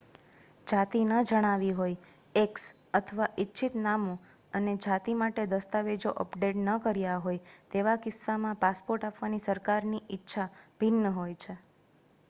જાતિ ન જણાવી હોય x અથવા ઇચ્છિત નામ અને જાતિ માટે દસ્તાવેજો અપડેટ ન કર્યા હોય તેવા કિસ્સામાં પાસપોર્ટ આપવાની સરકારોની ઇચ્છા ભિન્ન હોય છે